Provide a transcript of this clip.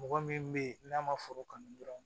Mɔgɔ min bɛ ye n'a ma foro kanu dɔrɔn